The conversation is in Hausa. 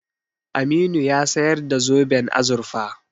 Aminu ya sayar da zoben azurfa.